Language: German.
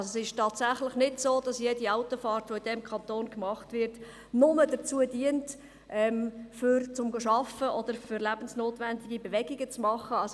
Es ist also tatsächlich nicht so, dass jede Autofahrt, die in diesem Kanton gemacht wird, nur dazu dient, arbeiten zu gehen oder lebensnotwendige Ortswechsel vorzunehmen.